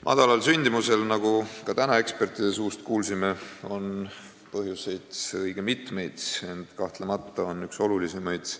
Madalal sündimusel, nagu ka täna ekspertide suust kuulsime, on õige mitmeid põhjuseid, ent kahtlemata on üks olulisemaid